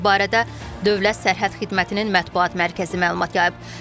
Bu barədə Dövlət Sərhəd Xidmətinin mətbuat mərkəzi məlumat yayıb.